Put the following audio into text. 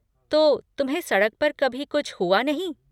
तो, तुम्हें सड़क पर कभी कुछ हुआ नहीं?